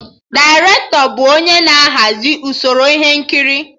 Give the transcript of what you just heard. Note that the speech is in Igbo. Dairetọ bụ onye na-ahazi usoro ihe nkiri